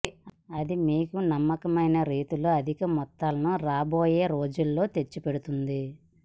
అది మీకు నమ్మకమైన రీతిలో అధిక మొత్తాలను రాబోయే రోజులలో తెచ్చిపెడుతుంది